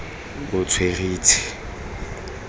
botsweretshi